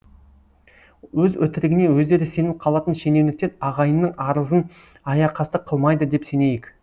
өз өтірігіне өздері сеніп қалатын шенеуніктер ағайынның арызын аяқасты қылмайды деп сенейік